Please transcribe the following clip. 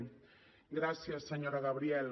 gràcies senyora gabriel